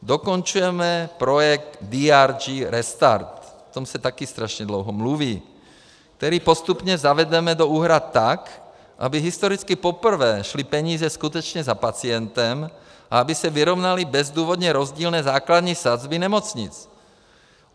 Dokončujeme projekt DRG Restart, o tom se také strašně dlouho mluví, který postupně zavedeme do úhrad tak, aby historicky poprvé šly peníze skutečně za pacientem a aby se vyrovnaly bezdůvodně rozdílné základní sazby nemocnic.